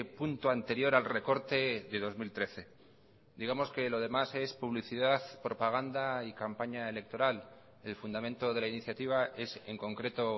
punto anterior al recorte de dos mil trece digamos que lo demás es publicidad propaganda y campaña electoral el fundamento de la iniciativa es en concreto